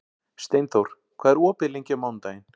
Steinþór, hvað er opið lengi á mánudaginn?